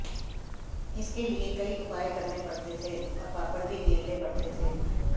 इसके लिए कई उपाय करने पड़ते थे और पापड़ भी बेलने पड़ते थे